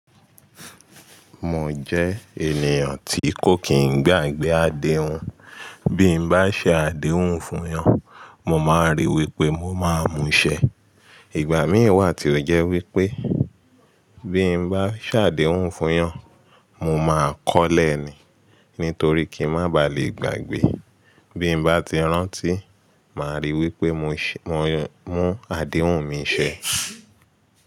Mo jẹ ènìyàn tí kò kìn gbàgbé adehùn. Bí'm bá ṣe àdéhùn fún yọn, mo máa ríi wí pé mo máa mú ṣẹ. Ìgbà míì wà tí ó jẹ́ wí pé bí mo bá ṣe àdéhùn fún wọn, mo máa kọ́olẹ̀ ni nítorí kí n má baà lè gbàgbé. Bí mo bá ti rántí, màá ríi wí pé mo mú àdéhùn mi ṣẹ.